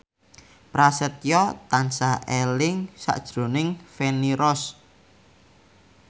Prasetyo tansah eling sakjroning Feni Rose